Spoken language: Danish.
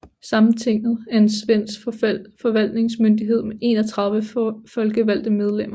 Sametinget er en svensk forvaltningsmyndighed med 31 folkevalgte medlemmer